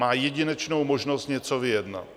Má jedinečnou možnost něco vyjednat.